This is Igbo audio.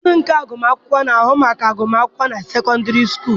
Diinu nke agụmakwụkwọ na-ahụ maka agụmakwụkwọ na sekọndịrị sukulu.